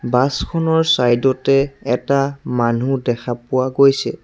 বাছখনৰ ছাইডতে এটা মানুহ দেখা পোৱা গৈছে।